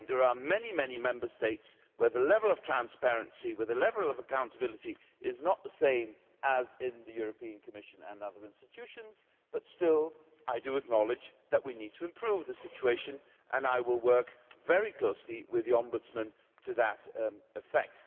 There are many Member States where the levels of transparency and accountability are not the same as in the Commission and the other EU institutions, but still I do acknowledge that we need to improve the situation and I will work very closely with the Ombudsman to that effect.